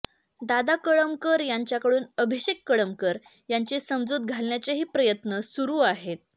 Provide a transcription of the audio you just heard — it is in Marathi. दादा कळमकर यांच्याकडून अभिषेक कळमकर यांची समजूत घालण्याचेही प्रयत्न सुरू आहेत